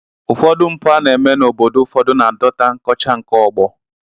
Ụfọdụ mpụ a na-eme n'obodo ụfọdụ na-adọta nkọcha nke ọgbọ